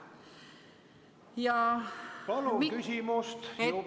Palun küsimus, aega on juba kõvasti üle läinud.